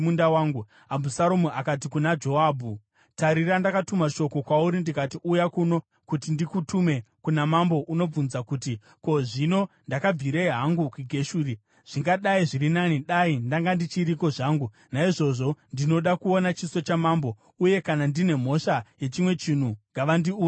Abhusaromu akati kuna Joabhu, “Tarira, ndakatuma shoko kwauri ndikati, ‘Uya kuno kuti ndikutume kuna mambo unobvunza kuti, “Ko, zvino ndakabvirei hangu kuGeshuri? Zvingadai zviri nani dai ndanga ndichiriko zvangu!” ’ Naizvozvo, ndinoda kuona chiso chamambo, uye kana ndine mhosva yechimwe chinhu, ngavandiuraye havo.”